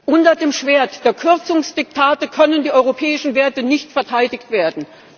Unter dem Schwert der Kürzungsdiktate können die europäischen Werte nicht verteidigt werden.